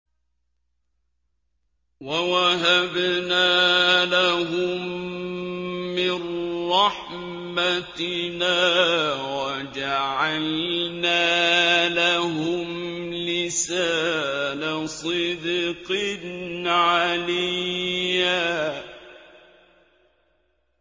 وَوَهَبْنَا لَهُم مِّن رَّحْمَتِنَا وَجَعَلْنَا لَهُمْ لِسَانَ صِدْقٍ عَلِيًّا